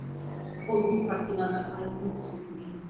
ол бұл картинада айқын көрсетілген